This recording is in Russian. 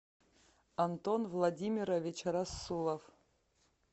антон владимирович рассулов